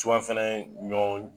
fana ɲɔ